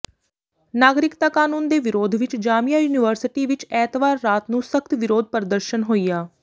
ਨਾਗਰਿਕਤਾ ਕਾਨੂੰਨ ਦੇ ਵਿਰੋਧ ਵਿੱਚ ਜਾਮੀਆ ਯੂਨੀਵਰਸਿਟੀ ਵਿੱਚ ਐਤਵਾਰ ਰਾਤ ਨੂੰ ਸਖ਼ਤ ਵਿਰੋਧ ਪ੍ਰਦਰਸ਼ਨ ਹੋਇਆ